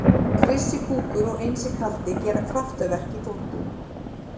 Krissi kúkur og Einsi kaldi gera kraftaverk í þvottinum.